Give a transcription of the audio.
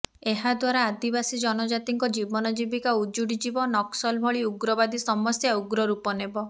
ଏହାଦ୍ୱାରା ଆଦିବାସି ଜନଜାତିଙ୍କ ଜୀବନଜୀବିକା ଉଜୁଡି ଯିବ ନକ୍ସଲ ଭଳି ଉଗ୍ରବାଦୀ ସମସ୍ୟା ଉଗ୍ର ରୂପ ନେବ